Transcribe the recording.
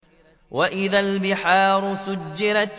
وَإِذَا الْبِحَارُ سُجِّرَتْ